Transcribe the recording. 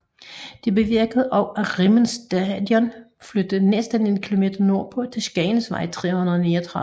Det bevirkede også at Rimmen Station flyttede næsten en kilometer nordpå til Skagensvej 339